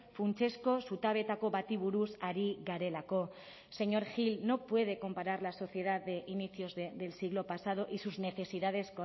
funtsezko zutabeetako bati buruz ari garelako señor gil no puede comparar la sociedad de inicios del siglo pasado y sus necesidades